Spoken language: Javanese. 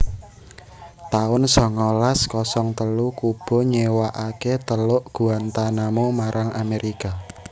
taun songolas kosong telu Kuba nyéwakaké Teluk Guantanamo marang Amerika